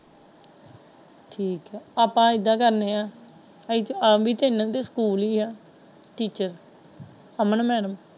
ਠੀਕ ਹੈ ਆਪਾ ਇਹਦਾ ਕਰਨੇ ਹੈ ਕਿ ਵੀ ਸਕੂਲ ਹੀ ਹੈ ਟੀਚਰ ਅਮਨ ਮੈਡਮ।